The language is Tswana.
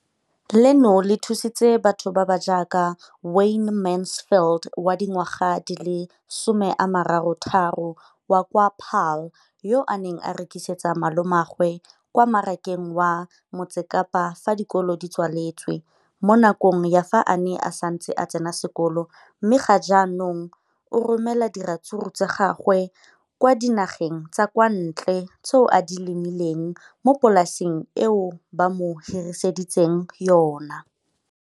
Leno le thusitse batho ba ba jaaka Wayne Mansfield, 33, wa kwa Paarl, yo a neng a rekisetsa malomagwe kwa Marakeng wa Motsekapa fa dikolo di tswaletse, mo nakong ya fa a ne a santse a tsena sekolo, mme ga jaanong o romela diratsuru tsa gagwe kwa dinageng tsa kwa ntle tseo a di lemileng mo polaseng eo ba mo hiriseditseng yona.